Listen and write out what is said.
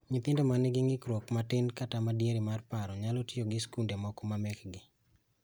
Nyithindo manigi ng'ikruok matin kata madiere mar paro nyalo tiyo gi skunde moko mamekgi